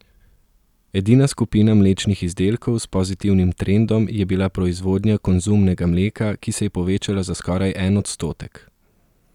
Edina skupina mlečnih izdelkov s pozitivnim trendom je bila proizvodnja konzumnega mleka, ki se je povečala za skoraj en odstotek.